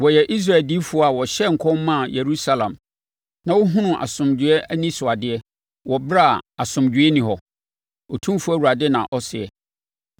Wɔyɛ Israel adiyifoɔ a wɔhyɛɛ nkɔm maa Yerusalem na wɔhunuu asomdwoeɛ anisoadeɛ, wɔ ɛberɛ a asomdwoeɛ nni hɔ’, Otumfoɔ Awurade na ɔseɛ.